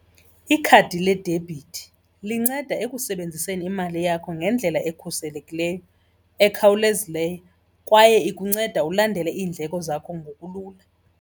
Ikhadi ledebhithi linceda ekusebenziseni imali yakho ngendlela ekhuselekileyo, ekhawulezileyo kwaye ikunceda ulandele iindleko zakho ngokulula.